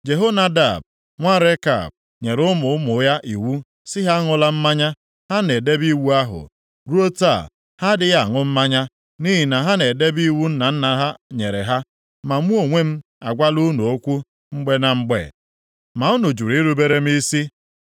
‘Jehonadab nwa Rekab nyere ụmụ ụmụ ya iwu sị ha aṅụla mmanya, ha na-edebe iwu ahụ. Ruo taa, ha adịghị aṅụ mmanya, nʼihi na ha na-edebe iwu nna nna ha nyere ha. Ma mụ onwe m agwala unu okwu mgbe na mgbe, ma unu jụrụ irubere m isi.